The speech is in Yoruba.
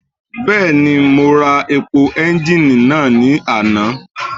Bẹ́ẹ̀ni mo ra epo ẹ́ńgìnì náà ní àná.